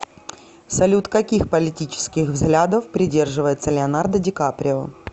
салют каких политических взглядов придерживается леонардо дикаприо